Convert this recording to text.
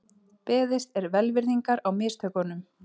Beðist er velvirðingar á mistökunum